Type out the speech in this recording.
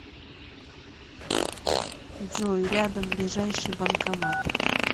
джой рядом ближайший банкомат